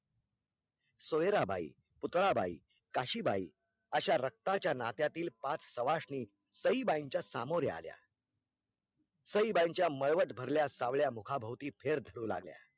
सोयराबाई, पूतळाबाई, काशीबाई अशा रक्ताच्या नात्यातील पाच सावाशिनी सईबाईंच्या सामोरी आल्या साईबाईच्या मळवट भरल्या सावल्या मुखाभवती फेर धरून आल्या